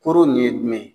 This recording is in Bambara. Koro nin ye jumɛn ye